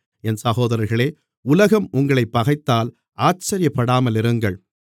என் சகோதர்களே உலகம் உங்களைப் பகைத்தால் ஆச்சரியப்படாமலிருங்கள்